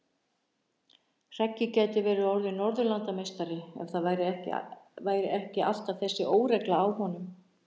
Hreggi gæti verið orðinn norðurlandameistari ef það væri ekki alltaf þessi óregla á honum.